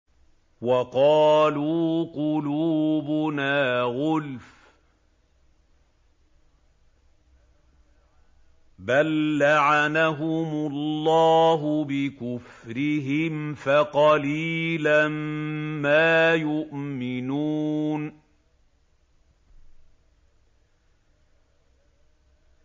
وَقَالُوا قُلُوبُنَا غُلْفٌ ۚ بَل لَّعَنَهُمُ اللَّهُ بِكُفْرِهِمْ فَقَلِيلًا مَّا يُؤْمِنُونَ